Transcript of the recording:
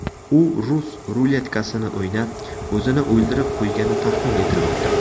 U rus ruletkasini o‘ynab, o‘zini o‘ldirib qo‘ygani taxmin etilmoqda.